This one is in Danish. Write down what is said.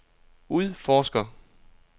udforsker